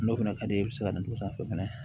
N'o fɛnɛ ka di e bɛ se ka na o sanfɛ fɛnɛ